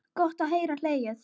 Gott að geta hlegið.